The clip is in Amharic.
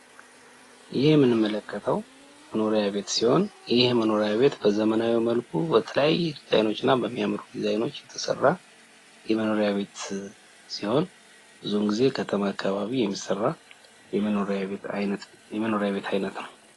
ይህ የምንመለከተው መኖሪያ ቤት ሲሆን ይህ የመኖሪያ ቤት በዘመናዊ መልኩ በተለያየ ድዛይኖችና በሚያምር ድዛይኖች የተሰራ የመኖሪያ ቤት ሲሆን ብዙውን ጊዜ ከተማ አካባቢ የሚሰራ የመኖሪያ ቤት አይነት ነው።